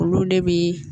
Olu de bi